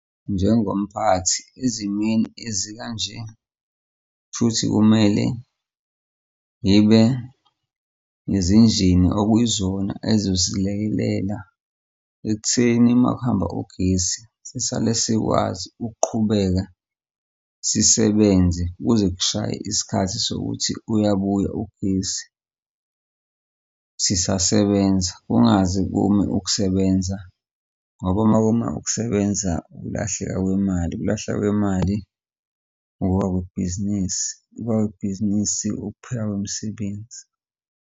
Njengomphathi ezimweni ezikanje, shuthi kumele ngibe nezinjini okuyizona azosilekelela ekutheni makuhamba ugesi sisale sikwazi ukuqhubeka sisebenze kuze kushaye isikhathi sokuthi uyabuya ugesi sisasebenza, kungaze kume ukusebenza ngoba uma kuma ukusebenza ukulahleka kwemali, ukulahla kwemali ukuwa kwebhizinisi, ukuwa kwebhizinisi ukuphekala kwemisebenzi.